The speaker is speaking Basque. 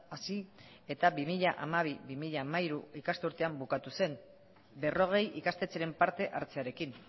hasi eta bi mila hamabi bi mila hamairu ikasturtean bukatu zen berrogei ikastetxeren parte hartzearekin